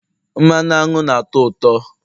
mmanụ aṅụ na ụtọ uto